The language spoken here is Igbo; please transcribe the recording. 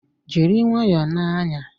Jiri nwayọọ na-anya!